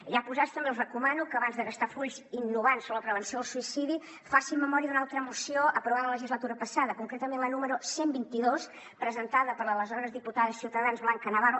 ja posats també els recomano que abans de gastar fulls innovant sobre la prevenció del suïcidi facin memòria d’una altra moció aprovada la legislatura passada concretament la número cent i vint dos presentada per l’aleshores diputada de ciutadans blanca navarro